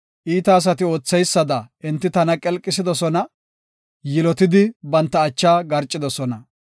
Iita asati ootheysada enti tana qelqisidosona; yilotidi banta acha garcidosona.